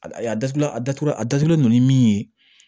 A a datugulan a datugula a datugulen don ni min ye